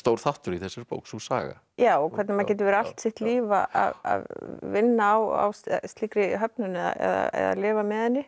þáttur í þessari bók sú saga já og hvernig maður getur verið allt sitt líf að vinna á slíkri höfnun eða lifa með henni